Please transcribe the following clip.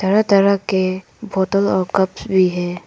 तरह तरह के बोतल और कप्स भी है।